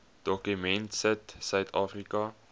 dokument sit suidafrika